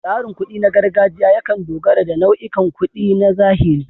Tsarin kuɗi na gargajiya yakan dogara da nau'ikan kuɗi na zahiri.